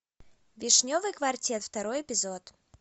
вишневый квартет второй эпизод